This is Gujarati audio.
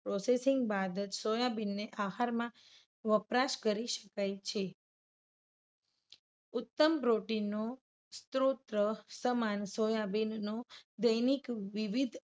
Processing બાદ જ સોયાબીનને આહારમાં વપરાશ કરી શકાય છે. ઉત્તમ protein નો સ્ત્રોત સમાન સોયાબીનનો દૈનિક વિવિધ